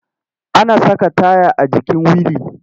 Ana saka taya a jikin wili.